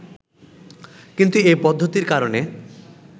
কিন্তু এ পদ্ধতির কারণে